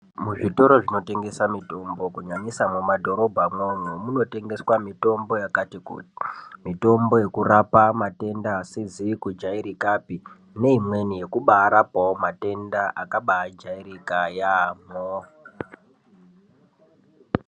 Muzvitoro zvinotengesa mitombo kunyanyisa mumadhorobhamwo umwo munotengeswa mitombo yakati kuti , mitombo yekurapa matenda asizi kujairikapi neimweni yekubaarapawo matenda akabaajairika yaamho .